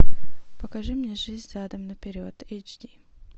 покажи мне жизнь задом наперед эйч ди